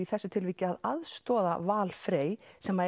þessu tilviki að aðstoða Val Frey sem